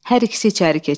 Hər ikisi içəri keçir.